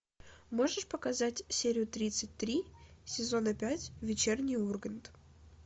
можешь показать серию тридцать три сезона пять вечерний ургант